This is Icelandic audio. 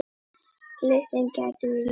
Listinn gæti verið lengri.